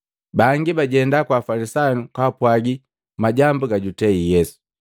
Bangi bajenda kwa Afalisayu kapwagi majambu gajutei Yesu.